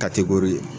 Ka tekori